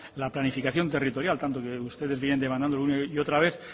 la planificación territorial tanto que ustedes vienen devanando una y otra vez